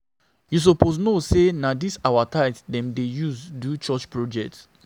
You suppose know sey na dis our tithe dem dey use do church project.